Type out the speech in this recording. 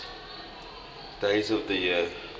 days of the year